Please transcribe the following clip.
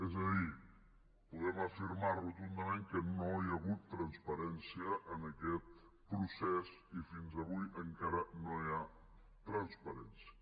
és a dir podem afirmar rotundament que no hi ha hagut transparència en aquest procés i fins avui encara no hi ha transparència